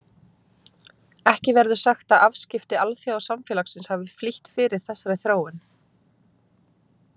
Ekki verður sagt að afskipti alþjóðasamfélagsins hafi flýtt fyrir þessari þróun.